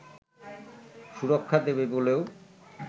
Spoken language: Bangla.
সুরক্ষা দেবে বলেও